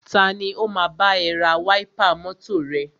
Tani o máa bá ẹ ra wáípà mọ́tọ̀ rẹ?